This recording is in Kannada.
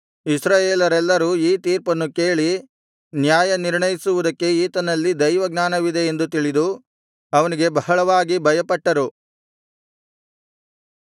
ಇಸ್ರಾಯೇಲರೆಲ್ಲರೂ ಈ ತೀರ್ಪನ್ನು ಕೇಳಿ ನ್ಯಾಯ ನಿರ್ಣಯಿಸುವುದಕ್ಕೆ ಈತನಲ್ಲಿ ದೈವಜ್ಞಾನವಿದೆ ಎಂದು ತಿಳಿದು ಅವನಿಗೆ ಬಹಳವಾಗಿ ಭಯಪಟ್ಟರು